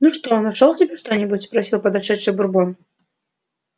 ну что нашёл себе что-нибудь спросил подошедший бурбон